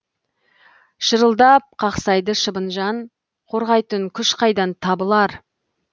шырылдап қақсайды шыбын жан қорғайтын күш қайдан табылар